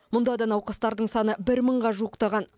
мұнда да науқастардың саны бір мыңға жуықтаған